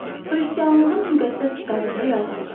Xristianlığın müqəddəs kitabında yazılıb.